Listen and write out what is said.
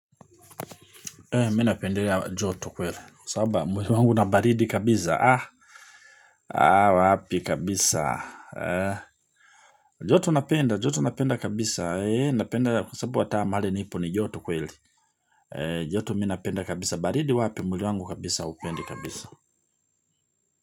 Mi napendelea joto kweli. Sababa, mwili wangu na baridi kabisa. Wapi kabisa. Joto napenda, joto napenda kabisa. Napenda. Kusabu hata mahali nipo ni joto kweli. E, joto mi napenda kabisa. Baridi wapi? Mwili wangu kabisa, hupendi kabisa.